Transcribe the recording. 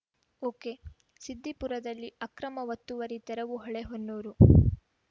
ಒಕೆಸಿದ್ದಿಪುರದಲ್ಲಿ ಅಕ್ರಮ ಒತ್ತುವರಿ ತೆರವು ಹೊಳೆಹೊನ್ನೂರು